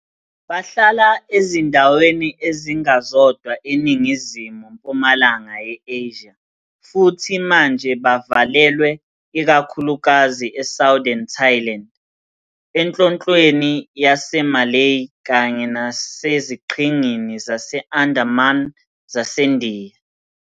Bahlala ezindaweni ezingazodwa eNingizimu-mpumalanga ye-Asia, futhi manje bavalelwe ikakhulukazi eSouthern Thailand, eNhlonhlweni yaseMalay, kanye naseziqhingini zase-Andaman zaseNdiya.